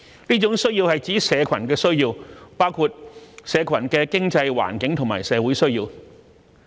這種需要是指社群的需要，包括"社群的經濟、環境和社會需要"。